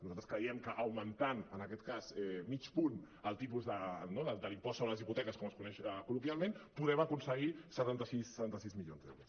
nosaltres creiem que augmentant en aquest cas mig punt el tipus de l’impost sobre les hipoteques com es coneix col·loquialment podem aconseguir setanta sis milions d’euros